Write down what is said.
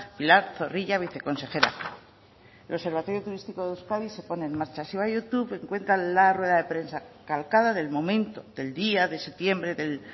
pilar zorrilla viceconsejera el observatorio turístico de euskadi se pone en marcha si va a youtube encuentra la rueda de prensa calcada del momento del día de septiembre del